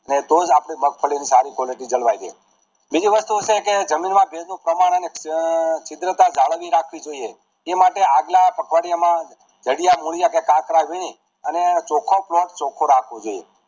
તો જ આપડી મગફળી ની સારી quality જળવાય રહે બીજી વસ્તુ છે કે જમીન માં ભેજ નું પ્રમાણ અને કુદરતતા જાળવી રાખવી જોઈએ જે માટે આગલા અઠવાડિયા માં જાડિયા મૂળિયાં કે કાતરા વીણી અને ચોખો ભાગ ચોખ્ખો રાખવો જોઈએ